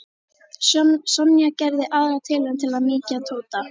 Sonja gerði aðra tilraun til að mýkja Tóta.